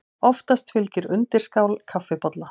Oftast fylgir undirskál kaffibolla.